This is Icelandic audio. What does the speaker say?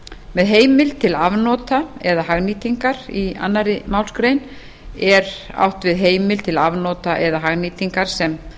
með heimild til afnota eða hagnýtingar í annarri málsgrein er átt við heimild til afnota eða hagnýtingar sem